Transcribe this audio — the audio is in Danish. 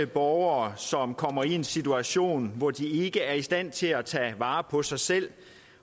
borgere som kommer i en situation hvor de ikke er i stand til at tage vare på sig selv